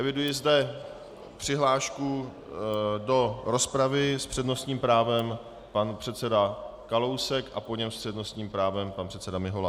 Eviduji zde přihlášku do rozpravy - s přednostním právem pan předseda Kalousek a po něm s přednostním právem pan předseda Mihola.